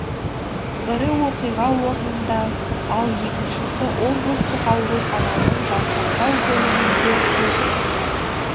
бірі оқиға орнында ал екіншісі облыстық аурухананың жансақтау бөлімінде көз жұмды